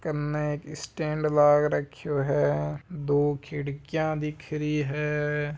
कन एक स्टैंड लग राख्यो है दो खिड़कियाँ दिख रही है।